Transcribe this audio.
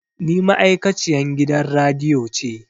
Ni ma'aikaciyan gidan radiyo ce